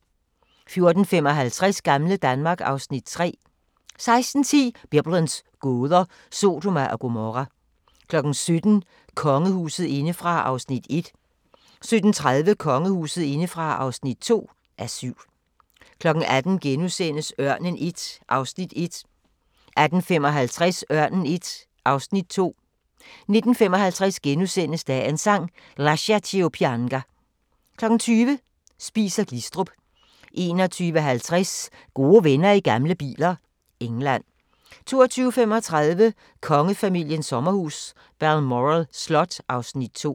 14:55: Gamle Danmark (Afs. 3) 16:10: Biblens gåder – Sodoma og Gomorra 17:00: Kongehuset indefra (1:7) 17:30: Kongehuset indefra (2:7) 18:00: Ørnen I (1:8)* 18:55: Ørnen I (2:8) 19:55: Dagens Sang: Lascia ch'io pianga * 20:00: Spies & Glistrup 21:50: Gode venner i gamle biler – England 22:35: Kongefamiliens sommerhus – Balmoral Slot (Afs. 2)